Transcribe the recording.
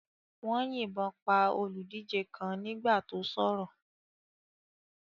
Wọ́n yìnbọn pa olùdíje kan nígbà tó sọ̀rọ̀.